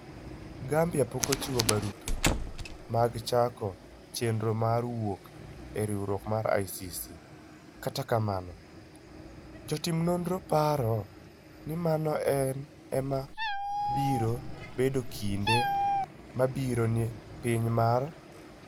Gambia pok ochiwo barupe mag chako chenro mar wuok e riwruok mar ICC, kata kamano, jotim nonro paro ni mano ema biro bedo kinde mabiro ne piny mar West Africa.